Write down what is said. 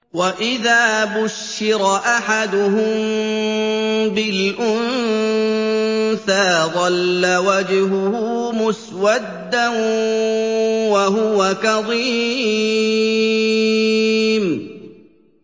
وَإِذَا بُشِّرَ أَحَدُهُم بِالْأُنثَىٰ ظَلَّ وَجْهُهُ مُسْوَدًّا وَهُوَ كَظِيمٌ